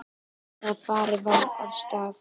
Þegar farið var af stað.